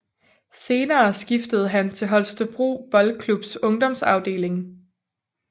Senere skiftede han til Holstebro Boldklubs ungdomsafdeling